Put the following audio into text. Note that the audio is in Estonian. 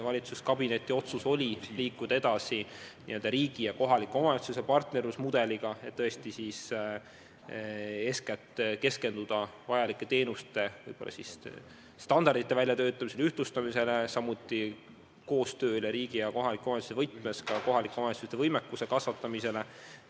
Valitsuskabineti otsus oli liikuda edasi riigi ja kohaliku omavalitsuse partnerlusmudeliga ja eeskätt keskenduda vajalike teenuste standardite väljatöötamisele, ühtlustamisele, samuti riigi ja kohaliku omavalitsuse koostööle ja kohalike omavalitsuste võimekuse kasvatamisele.